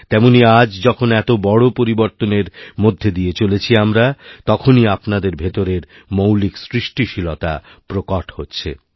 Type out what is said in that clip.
তেমনই আজ যখন এত বড়ো পরিবর্তনের মধ্যে দিয়ে চলেছিআমরা তখনই আপনাদের ভেতরের মৌলিক সৃষ্টিশীলতা প্রকট হচ্ছে